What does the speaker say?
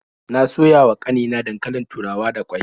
Na soya wa ƙanina dankalin turawa da ƙwai.